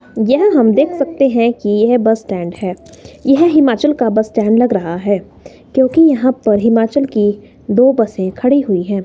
यह हम देख सकते हैं कि यह बस स्टैंड है यह हिमाचल का बस स्टैंड लग रहा है क्योंकि यहां हिमाचल की दो बसें खड़ी हुई हैं।